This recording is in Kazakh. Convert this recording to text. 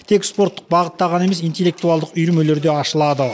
тек спорттық бағытта ғана емес интеллектуалдық үйірмелер де ашылады